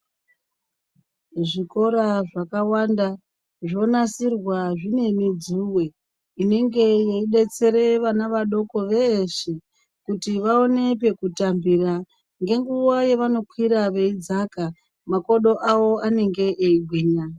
Zvikora zvakawanda zvonasirwa zvine midzuve inenge yeibetsere vana vadoko veshe. Kuti vaone pekutambira ngenguva yavanokwira veidzaka makodo avo anenge eigwinya.